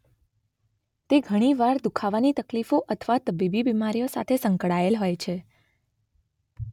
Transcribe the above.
તે ઘણી વાર દુખાવાની તકલીફો અથવા તબીબી બિમારીઓ સાથે સંકળાયેલ હોય છે.